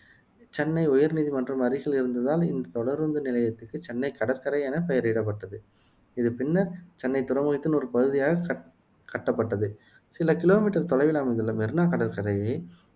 சென்னை உயர் நீதிமன்ற அருகில் இருந்ததால் இந்த தொடருந்து நிலையத்துக்கு சென்னை கடற்கரை என பெயரிடப்பட்டது இது பின்னர் சென்னை துறைமுகத்தின் ஒரு பகுதியாக கட் கட்டப்பட்டது சில கிலோமீட்டர் தொலைவில் அமைந்துள்ள மெரீனா கடற்கரையை